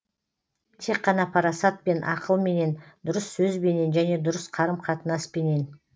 тек қана парасатпен ақылменен дұрыс сөзбенен және дұрыс қарым қатынаспенен